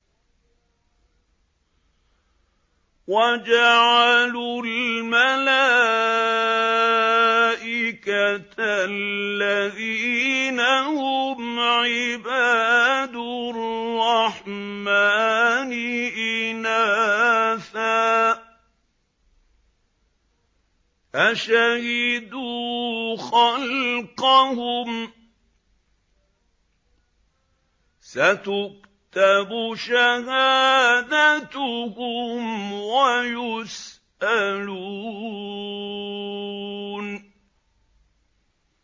وَجَعَلُوا الْمَلَائِكَةَ الَّذِينَ هُمْ عِبَادُ الرَّحْمَٰنِ إِنَاثًا ۚ أَشَهِدُوا خَلْقَهُمْ ۚ سَتُكْتَبُ شَهَادَتُهُمْ وَيُسْأَلُونَ